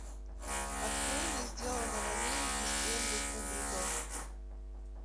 открой мне сделано в америке стенли кубрика